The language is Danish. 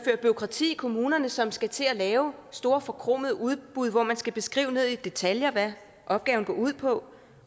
bureaukrati i kommunerne som skal til at lave store forkromede udbud hvor man skal beskrive ned i detaljer hvad opgaven går ud på